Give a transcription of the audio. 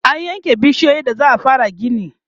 an yanke bishiyoyin da za'a fara gini